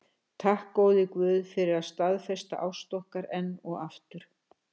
Takk, góði guð, fyrir að staðfesta ást okkar enn og aftur.